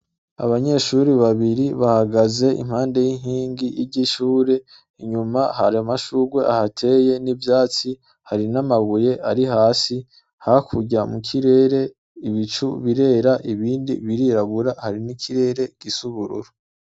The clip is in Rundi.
Abanyeshure babiri bahagaze impande yinkingi ryishure inyuma hari amashurwe ahateye n'ivyatsi hari n'amabuye ari hasi hakurya mukirere ibicu birera ibindi birirabura hari n'ikirere gisa ubururu.